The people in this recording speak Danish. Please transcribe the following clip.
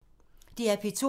DR P2